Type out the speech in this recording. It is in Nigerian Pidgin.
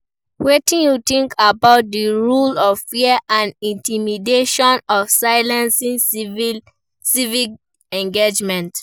wetin you think about di role of fear and intimidation to silencing civic engagement?